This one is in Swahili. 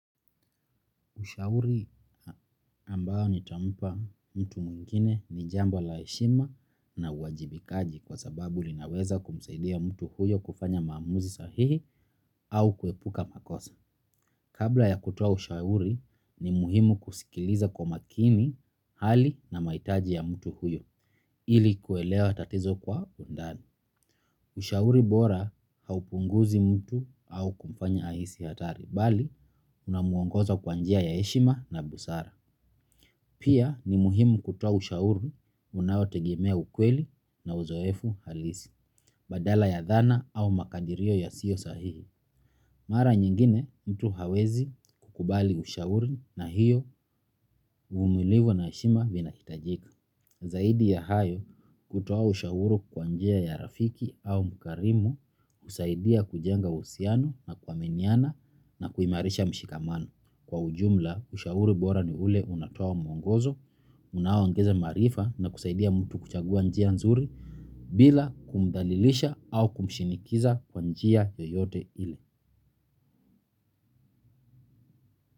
Ushauri ambao nitampa mtu mwingine ni jambo la heshima na uwajibikaji kwa sababu linaweza kumsaidia mtu huyo kufanya maamuzi sahihi au kuepuka makosa. Kabla ya kutoa ushauri ni muhimu kusikiliza kwa makini hali na mahitaji ya mtu huyo ili kuelewa tatizo kwa undani. Ushauri bora haupunguzi mtu au kumfanya ahisi hatari bali unamwongoza kwa njia ya heshima na busara. Pia ni muhimu kutoa ushauri unaotegemea ukweli na uzoefu halisi, badala ya dhana au makadirio yasiyo sahihi. Mara nyingine mtu hawezi kukubali ushauri na hiyo uvumilivu na heshima vinahitajika. Zaidi ya hayo kutoa ushauri kwa njia ya rafiki au mkarimu husaidia kujenga uhusiano na kuaminiana na kuimarisha mshikamano. Kwa ujumla ushauri bora ni ule unatoa mwongozo, unao ongeza maarifa na kusaidia mtu kuchagua njia nzuri bila kumdhalilisha au kumshinikiza kwa njia yoyote ile.